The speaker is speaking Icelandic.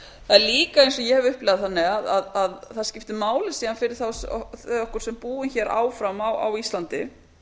það er líka eins og ég hef upplifað að það skiptir máli fyrir okkur sem búum áfram á íslandi